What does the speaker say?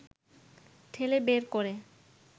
ঠেলে বের করে